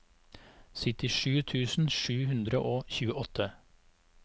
syttisju tusen sju hundre og tjueåtte